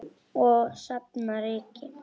Og safna ryki.